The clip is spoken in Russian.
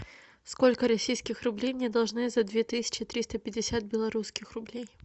сколько российских рублей мне должны за две тысячи триста пятьдесят белорусских рублей